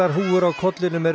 húfur á kollinum eru